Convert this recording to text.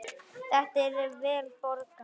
Þetta er vel borgað.